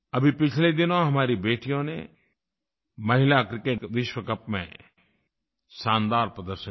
अभी पिछले दिनों हमारी बेटियों ने महिला क्रिकेट विश्व कप में शानदार प्रदर्शन किया